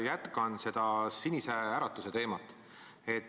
Jätkan seda Sinise Äratuse teemat.